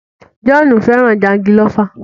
John fẹràn jangilófa.